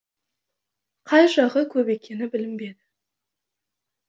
қай жағы көп екені білінбеді